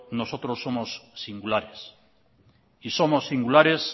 nosotros somos singulares y somos singulares